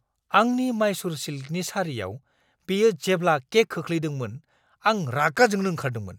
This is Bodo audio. आंनि माइसुर सिल्कनि सारियाव बियो जेब्ला केक खोख्लैफ्लांदोंमोन आं रागा जोंनो ओंखारदोंमोन।